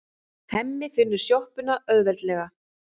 Hemmi finnur sjoppuna auðveldlega.